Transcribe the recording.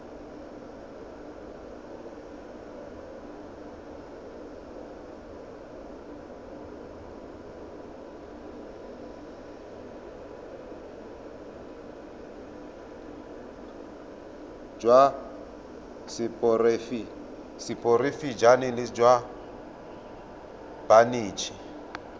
jwa seporofe enale jwa banetshi